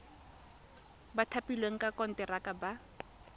ba thapilweng ka konteraka ba